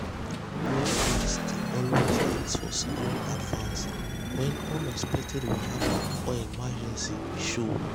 workers dey always ask for salary advance when unexpected wahala or emergency show.